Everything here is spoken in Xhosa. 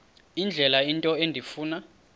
indlela into endifuna